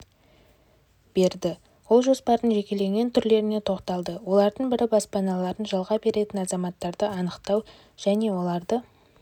берді ол жоспардың жекелеген түрлеріне тоқталды олардың бірі баспаналарын жалға беретін азаматтарды анықтау және оларды